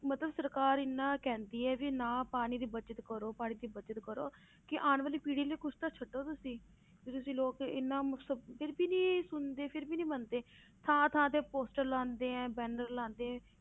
ਮਤਲਬ ਸਰਕਾਰ ਇੰਨਾ ਕਹਿੰਦੀ ਹੈ ਵੀ ਨਾ ਪਾਣੀ ਦੀ ਬਚਤ ਕਰੋ ਪਾਣੀ ਦੀ ਬਚਤ ਕਰੋ ਕਿ ਆਉਣ ਵਾਲੀ ਪੀੜ੍ਹੀ ਲਈ ਕੁਛ ਤਾਂ ਛੱਡੋ ਤੁਸੀਂ ਵੀ ਤੁਸੀਂ ਲੋਕ ਇੰਨਾ ਮੁਸ~ ਫਿਰ ਵੀ ਨੀ ਸੁਣਦੇ ਫਿਰ ਵੀ ਨੀ ਮੰਨਦੇ ਥਾਂ ਥਾਂ ਤੇ poster ਲਾਉਂਦੇ banner ਲਾਉਂਦੇ ਹੈ